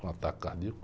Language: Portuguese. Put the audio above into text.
Um ataque cardíaco.